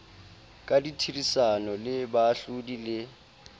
ka therisano le baahlodi le